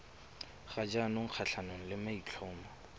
ga jaanong kgatlhanong le maitlhomo